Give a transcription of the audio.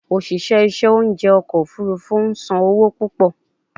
Oṣiṣẹ iṣẹ ounjẹ ọkọ ofurufu n san owo pupọ